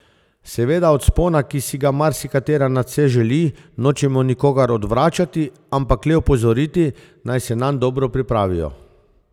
Seveda od vzpona, ki si ga marsikatera nadvse želi, nočemo nikogar odvračati, ampak le opozoriti, naj se nanj dobro pripravijo.